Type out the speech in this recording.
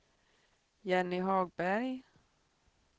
Jenny Hagberg